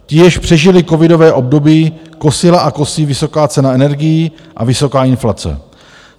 Ti, již přežili covidové období, kosila a kosí vysoká cena energií a vysoká inflace.